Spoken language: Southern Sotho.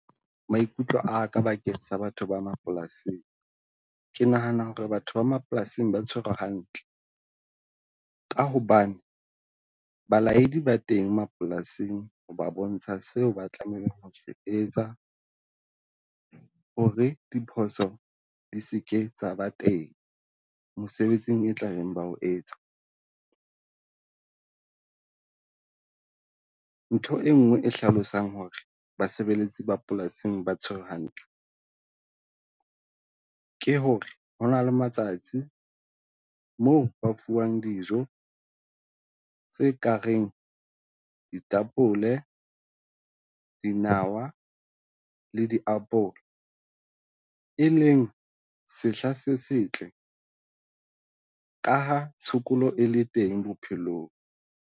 Maikutlo a ka bakeng sa batho ba mapolasing, ke nahanang ho re batho ba mapolasing ba tshwerwe hantle. Ka hobane balaedi ba teng mapolasing ho ba bontsha seo ba tlamehile ho etsa ho re diphoso di se ke tsa ba teng mosebetsing e tla beng ba ho etsa. Ntho enngwe e hlalosang ho re basebeletsi ba polasing ba tshwerwe hantle, ke ho re ho na le matsatsi moo ba fuwang dijo tse kareng ditapole, dinawa le diapole, e leng sehla se setle ka ha tshokolo e le teng bophelong.